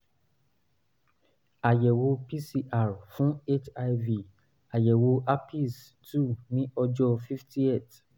àyẹ̀wò pcr fún hiv vdrl àyẹ̀wò herpes two ní ọ̀jọ́ fiftieth